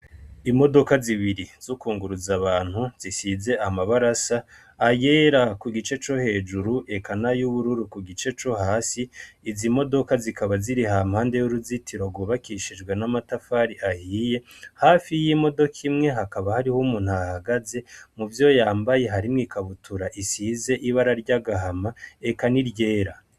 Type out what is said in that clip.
Imodoka zibiri z' ukunguruza abantu zisize amabarasa ayera ku gice co hejuru ekana y'ubururu ku gice co hasi izo imodoka zikaba ziri hampande y'uruzitiro rubakishijwe n'amatafari ahiye hafi y'imodoka imwe hakaba hariho umuntu hahagaze mu vyo yambaye harimwe ikabutura r isize ibara ry'agahama eka ni ryera.